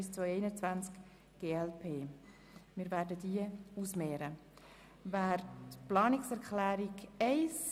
Jetzt stimmen wir noch über die Planungserklärung 2 ab.